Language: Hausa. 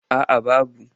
A a babu.